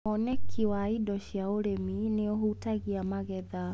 Woneki wa indo cia ũrĩmi nĩũhutagia magetha.